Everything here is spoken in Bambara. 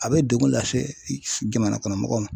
A bɛ degun lase i ks jamana kɔnɔ mɔgɔ ma.